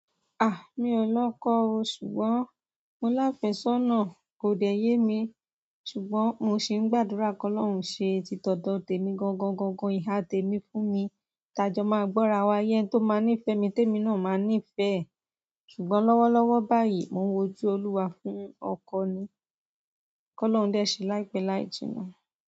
Mi ò lọ́kọ́ o ṣùgbọ́n, mo láfẹ̀ṣọ́nà kò dẹ̀ ye mi, ṣùgbọ́n mo sì ń gbàdúrà kí Ọlọ́run ṣe títọ́dọ̀ tèmi gangan gangan, ìhà tèmi fún mi, ti ajọ máa gbọ́rawa ye ẹni tó máa ní ìfẹ́ mi tèmi náà máa ní ìfẹ́ ẹ. Ṣùgbọ́n lọ́wọ́lọ́wọ́ báyìí mò ń wojú Olúwa fún ọkọ ni. Kí Ọlọ́run dé ṣe láìpẹ́ láì jìnnà.